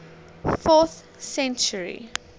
fourth century